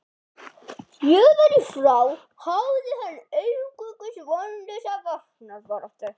Héðan í frá háði hann einungis vonlausa varnarbaráttu.